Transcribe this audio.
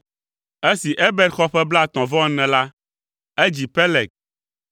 Esi Eber xɔ ƒe blaetɔ̃-vɔ-ene la, edzi Peleg.